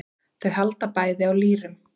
Þau halda bæði á lýrum.